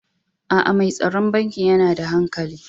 Aa, Mai tsaron bankin yana da hankali.